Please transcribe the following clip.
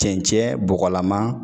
Cɛncɛn bɔgɔlama.